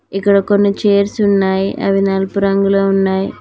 ఇక్కడ కొన్ని చేర్సు ఉన్నాయి అవి నలుపు రంగులో ఉన్నాయ్.